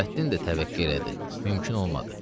Nurəddin də təvəqqə elədi, mümkün olmadı.